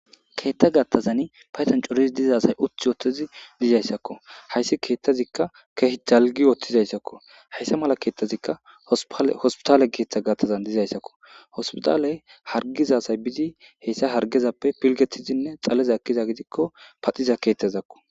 keettha gattazani payton corizi dizasay uthi oothtizi dizayssakko hayssi keethtazikka keh zalgi ooththizayssakko hayssa mala keettazikka hospitaale keeththa gattazan dizayssakko hospitaaley hargizasay bizi heyssa hargezappe pilgetizinne xaleza akkiza gidikko paxiza keetazakko